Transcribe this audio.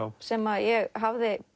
sem ég hafði